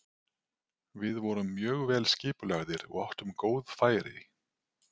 Við vorum mjög vel skipulagðir og áttum góð færi.